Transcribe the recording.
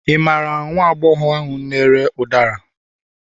ị mara nwagbogor ahu n'ere ụdara